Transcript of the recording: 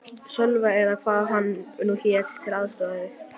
Sölva eða hvað hann nú hét, til að aðstoða þig.